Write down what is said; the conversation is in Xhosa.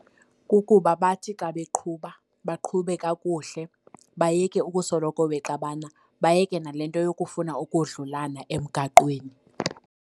Kukuba bathi xa beqhuba baqhube kakuhle bayeke ukusoloko bexabana, bayeke nale nto yokufuna ukodlulana emgaqweni.